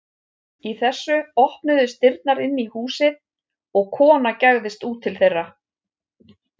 Í þessu opnuðust dyrnar inn í húsið og kona gægðist út til þeirra.